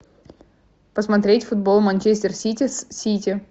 посмотреть футбол манчестер сити с сити